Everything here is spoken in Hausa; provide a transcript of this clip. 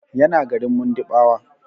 Yana garin Mundiɓawa.